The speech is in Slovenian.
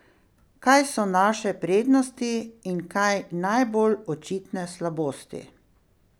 Kaj so naše prednosti in kaj najbolj očitne slabosti?